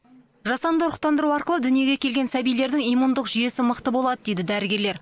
жасанды ұрықтандыру арқылы дүниеге келген сәбилердің иммундық жүйесі мықты болады дейді дәрігерлер